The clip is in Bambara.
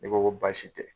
Ne ko ko baasi tɛ